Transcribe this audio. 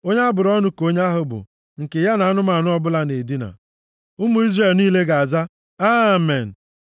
“Onye a bụrụ ọnụ ka onye ahụ bụ nke ya na anụmanụ ọbụla na-edina.” Ụmụ Izrel niile ga-aza, “Amen.”